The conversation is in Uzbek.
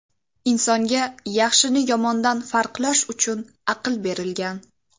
Insonga yaxshini yomondan farqlash uchun aql berilgan.